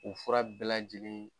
U fura bɛɛ lajɛlen